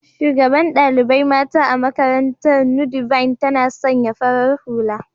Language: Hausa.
shugaɓan ɗaliɓai mata a maƙarantar "nudivine " tana sanƴa farar hula